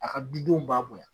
A ka dudenw bonya